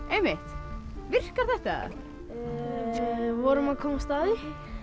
einmitt virkar þetta við vorum að komast að því